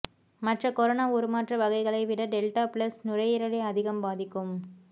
மற்ற கொரோனா உருமாற்ற வகைகளை விட டெல்டா பிளஸ் நுரையீரலை அதிகம் பாதிக்கும்